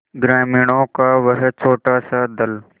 ग्रामीणों का वह छोटासा दल